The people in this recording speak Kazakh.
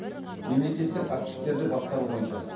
мемлекеттік активтерді басқару бойынша